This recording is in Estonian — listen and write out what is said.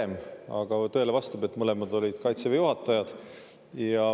Aga vastab tõele, et Kaitseväe juhataja.